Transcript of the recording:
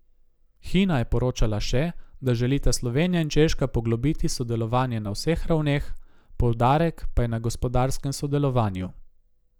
Hina je poročala še, da želita Slovenija in Češka poglobiti sodelovanje na vseh ravneh, poudarek pa je na gospodarskem sodelovanju.